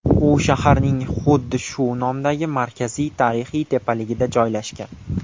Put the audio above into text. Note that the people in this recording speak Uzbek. U shaharning xuddi shu nomdagi markaziy tarixiy tepaligida joylashgan.